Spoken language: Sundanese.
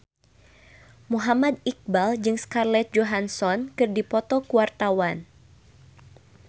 Muhammad Iqbal jeung Scarlett Johansson keur dipoto ku wartawan